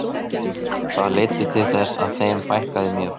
Það leiddi til þess að þeim fækkaði mjög.